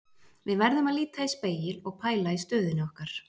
Við verðum að líta í spegil og pæla í stöðunni okkar.